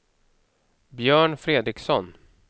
Björn Fredriksson